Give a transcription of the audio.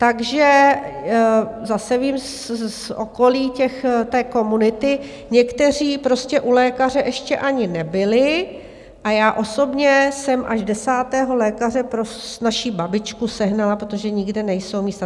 Takže zase vím z okolí té komunity - někteří prostě u lékaře ještě ani nebyli a já osobně jsem až desátého lékaře pro naši babičku sehnala, protože nikde nejsou místa.